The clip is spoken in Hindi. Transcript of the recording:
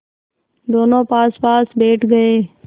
दोेनों पासपास बैठ गए